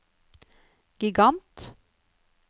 gigant